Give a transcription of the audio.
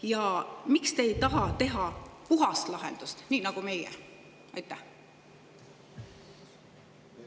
Ja miks te ei taha teha puhast lahendust, nii nagu meie?